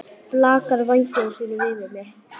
Blakar vængjum sínum yfir mér.